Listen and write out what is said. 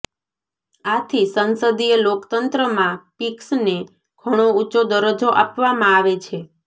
આથી સંસદીય લોકતંત્રમાં પિક્ષને ઘણો ઊંચો દરજ્જો આપવામાં આવે છે